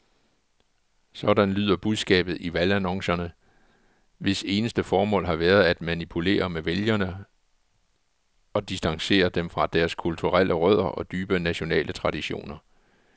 Sådan lyder budskabet i valgannoncerne, hvis eneste formål har været at manipulere med vælgere og distancere dem fra deres kulturelle rødder og dybe nationale traditioner.